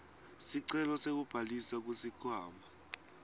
sicelo sekubhalisa kusikhwama